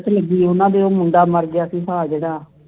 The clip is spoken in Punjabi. ਕਰੀਬੀ ਉਨ੍ਹਾਂ ਦੇ ਉਹ ਮੁੰਡਾ ਮਰ ਗਿਆ ਸੀ ਹਾਂ ਜਿਹੜਾ